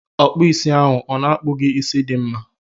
Ọkpụisi ahụ ọ na-akpu gị isi dị mma?